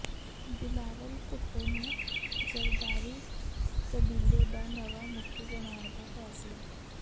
ਬਿਲਾਵਲ ਭੁਟੋ ਨੂੰ ਜਰਦਾਰੀ ਕਬੀਲੇ ਦਾ ਨਵਾਂ ਮੁੱਖੀ ਬਣਾਉਣ ਦਾ ਫੈਸਲਾ